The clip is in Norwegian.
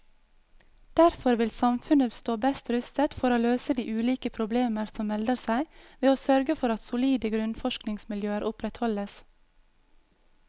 Derfor vil samfunnet stå best rustet for å løse de ulike problemer som melder seg ved å sørge for at solide grunnforskningsmiljøer opprettholdes.